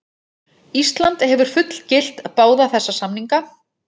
Ísland hefur fullgilt báða þessa samninga.